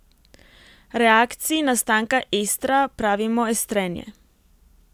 Reakciji nastanka estra pravimo estrenje.